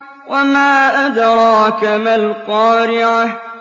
وَمَا أَدْرَاكَ مَا الْقَارِعَةُ